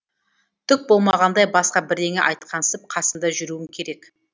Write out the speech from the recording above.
түк болмағандай басқа бірдеңе айтқансып қасында жүруің керек